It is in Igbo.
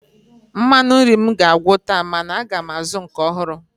Mmanụ nri m ga-agwụ taa mana aga m azụ nke ọhụrụ